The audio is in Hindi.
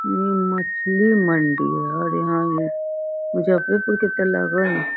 इ मछली मंडी ह और यहाँ लगे ह।